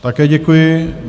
Také děkuji.